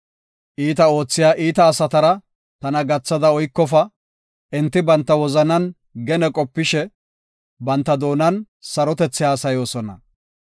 Iita oothiya iita asatara tana gathada oykofa; enti banta wozanan gene qopishe, banta doonan sarotethi haasayoosona.